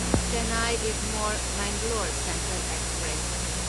Chennai Egmore Mangalore central express